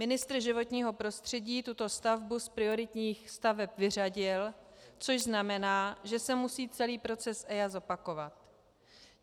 Ministr životního prostředí tuto stavbu z prioritních staveb vyřadil, což znamená, že se musí celý proces EIA zopakovat.